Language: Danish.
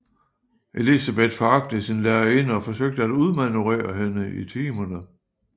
Elizabeth foragtede sin lærerinde og forsøgte at udmanøvrere hende i timerne